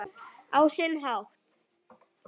Á sinn hátt.